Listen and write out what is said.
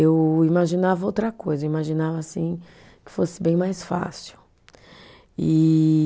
Eu imaginava outra coisa, eu imaginava assim que fosse bem mais fácil. E